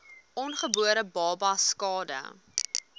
ongebore babas skade